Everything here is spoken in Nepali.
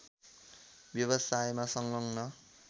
व्यवसायमा संलग्न